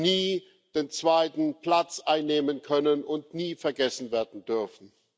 nie den zweiten Platz einnehmen können und nie vergessen werden dürfen.